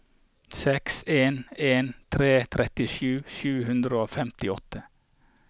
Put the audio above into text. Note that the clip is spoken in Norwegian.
seks en en tre trettisju sju hundre og femtiåtte